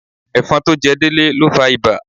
Ẹ̀fọn tó jẹ Délé ló fa ibà.